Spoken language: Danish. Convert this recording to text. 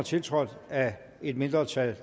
tiltrådt af et mindretal